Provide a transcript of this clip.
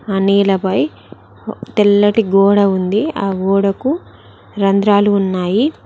ఆ నేలపై తెల్లటి గోడ ఉంది ఆ గోడకు రంధ్రాలు ఉన్నాయి.